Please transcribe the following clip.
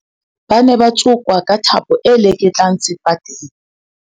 ba ne ba tsokwa ka thapo e leketlang sefateng